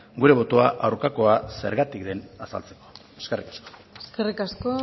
gure botoa aurkakoa zergatik den azaltzeko eskerrik asko eskerrik asko